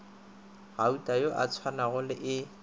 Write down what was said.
gautana yo a tsongwago e